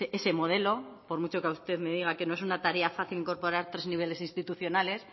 ese modelo por mucho que usted me diga que no es una tarea fácil incorporar tres niveles institucionales